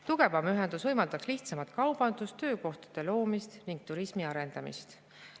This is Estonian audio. Tugevam ühendus võimaldaks lihtsamalt kaubandusega, see võimaldaks töökohtade loomist ning turismi arendamist.